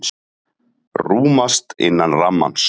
Rúmast innan rammans